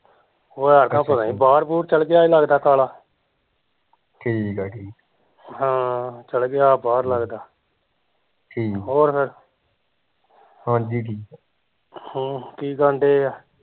ਐਤਕਾਂ ਪਤਾ ਨੀ ਬਾਹਰ ਬੁਹਰ ਚੱਲ ਗਿਆ ਆ ਕਾਲਾ ਹਾਂ ਚੱਲ ਗਿਆ ਬਾਹਰ ਲੱਗਦਾ ਹੋਰ ਫਿਰ ਹਮ ਕੀ ਕਰਨ ਡਏ ਆ